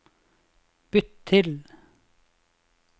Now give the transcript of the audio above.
bytt til